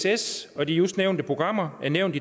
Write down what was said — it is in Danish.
ess og de just nævnte programmer er nævnt